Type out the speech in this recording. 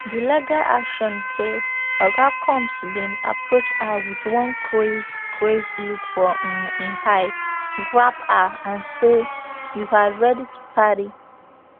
di legal action say oga combs bin approach her wit one crazed crazed look for um im eyes grab her and say you are ready to party